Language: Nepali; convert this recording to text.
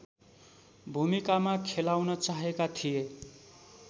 भूमिकामा खेलाउन चाहेका थिए